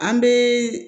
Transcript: An bɛ